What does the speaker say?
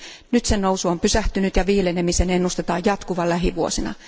Nyt sen nousu on pysähtynyt ja viilenemisen ennustetaan jatkuvan lähivuosina.